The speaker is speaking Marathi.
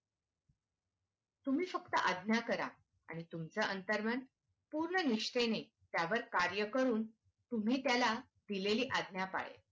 तुम्ही फक्त आज्ञा करा तुमचं अंतरमन पूर्ण निष्ठेने त्यावर कार्य करून तुम्ही त्याला दिलेली आज्ञा पाळेल.